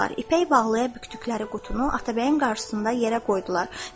İpək bağlaya bükdükləri qutunu Atabəyin qarşısında yerə qoydular.